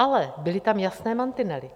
Ale byly tam jasné mantinely.